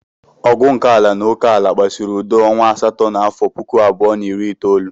Ọgụ nke ala na oke ala kpasuru udo ọnwa asatọ n'afọ puku abụọ na iri itoolu.